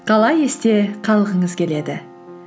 қалай есте қалғыңыз келеді